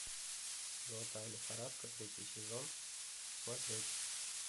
золотая лихорадка третий сезон смотреть